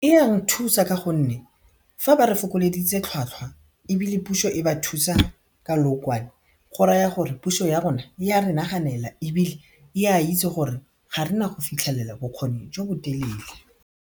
E ya re thusa ka gonne fa ba re fokoleditse tlhwatlhwa ebile pušo e ba thusa ka leokwane go raya gore pušo ya rona e a re naganela ebile e a itse gore ga rena go fitlhelela bokgoni jo bo telele.